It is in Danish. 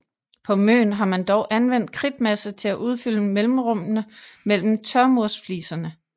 På Møn har man dog anvendt kridtmasse til at udfylde mellemrummene mellem tørmursfliserne